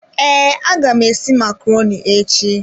Ee, aga m esi macaroni echi.